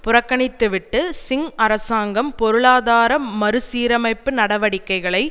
புறக்கணித்துவிட்டு சிங் அரசாங்கம் பொருளாதார மறு சீரமைப்பு நடவடிக்கைகளை